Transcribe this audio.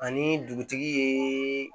Ani dugutigi ye